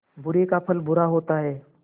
बुरे का फल बुरा होता है